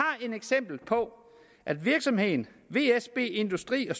et eksempel på at virksomheden vsb industri og